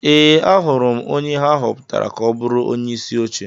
Ee, ahụrụ m onye ha họpụtara ka ọ bụrụ onyeisi oche.